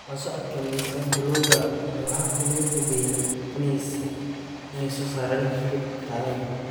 La socodka miisaanka lo'du waa hab lagu hubiyo inay soo saaraan hilib tayo leh.